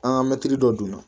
An ka mɛtiri dɔ donna